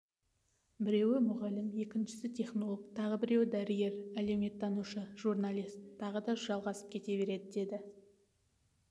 біреуі мұғалім екіншісі технолог тағы біреуі дәрігер әлеуметтанушы журналист тағы да жалғасып кете береді деді